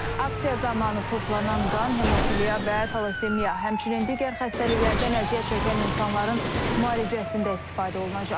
Aksiya zamanı toplanan qan hemofiliya və talassemiya, həmçinin digər xəstəliklərdən əziyyət çəkən insanların müalicəsində istifadə olunacaq.